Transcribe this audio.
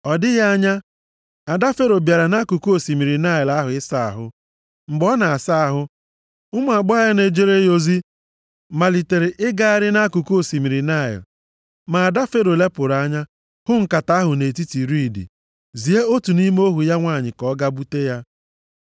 Ọ dịghị anya, ada Fero bịara nʼakụkụ osimiri Naịl ahụ ịsa ahụ. Mgbe ọ nọ na-asa ahụ, ụmụ agbọghọ na-ejere ya ozi malitere ịgagharị nʼakụkụ osimiri Naịl. Ma ada Fero lepụrụ anya hụ nkata ahụ nʼetiti riidi, zie otu nʼime ohu ya nwanyị ka ọ gaa bute ya.